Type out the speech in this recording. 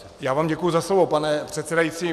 Já vám děkuji za slovo, pane předsedající.